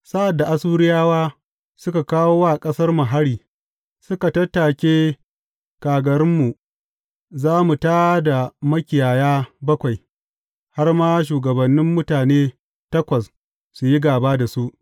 Sa’ad da Assuriyawa suka kawo wa ƙasarmu hari suka tattake kagarunmu, za mu tā da makiyaya bakwai, har ma shugabannin mutane takwas su yi gāba da su.